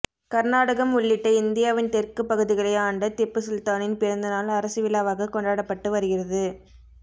கர்நாடகம் உள்ளிட்ட இந்தியாவின் தெற்கு பகுதிகளை ஆண்ட திப்பு சுல்தானின் பிறந்தநாள் அரசு விழாவாக கொண்டாடப்பட்டு வருகிறது